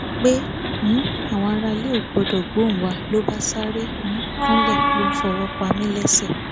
pé um àwọn aráalé ò gbọdọ gbóhùn wa ń lọ bá sáré um kúnlẹ ló ń fọwọ pa mí lẹsẹ